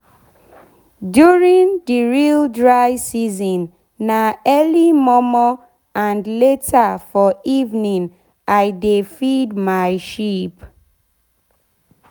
during the real dry season na early mor mor and later for evening i de feed my sheep.